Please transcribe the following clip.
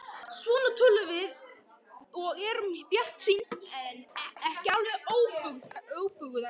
Svona tölum við og erum bjartsýn, ekki alveg óbuguð ennþá.